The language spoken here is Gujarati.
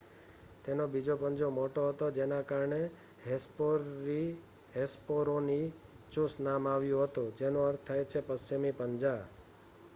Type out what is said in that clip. "તેનો બીજો પંજો મોટો હતો જેના કારણે હેસ્પેરોનીચુસ નામ આવ્યું હતું જેનો અર્થ થાય છે "પશ્ચિમી પંજા"".